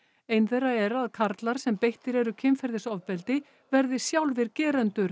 ein þeirra er að karlar sem beittir eru kynferðisofbeldi verði sjálfir gerendur